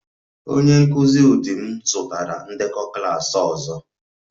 Onye nkụzi ụdị m zụtara ndekọ klas ọzọ